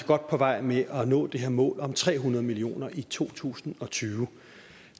godt på vej med at nå det her mål om tre hundrede millioner børn i to tusind og tyve